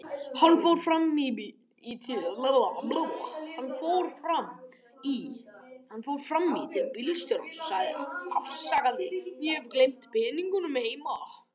Hann fór fram í til bílstjórans og sagði afsakandi: Ég hef gleymt peningunum heima.